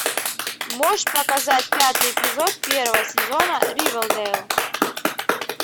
можешь показать пятый эпизод первого сезона ривердейл